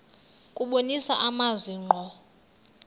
kubonisa amazwi ngqo